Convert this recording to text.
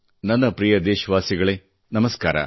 ನನ್ನ ಪ್ರಿಯ ದೇಶವಾಸಿಗಳೆ ನಮಸ್ಕಾರ